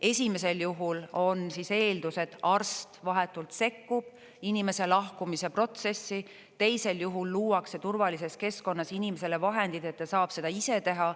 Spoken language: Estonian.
Esimesel juhul on eeldus, et arst vahetult sekkub inimese lahkumise protsessi, teisel juhul luuakse turvalises keskkonnas inimesele vahendid, et ta saab seda ise teha.